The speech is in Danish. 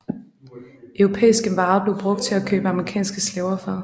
Europæiske varer blev brugt til at købe afrikanske slaver for